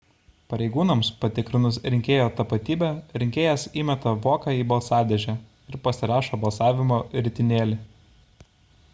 pareigūnams patikrinus rinkėjo tapatybę rinkėjas įmeta voką į balsadėžę ir pasirašo balsavimo ritinėlį